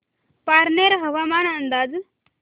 पारनेर हवामान अंदाज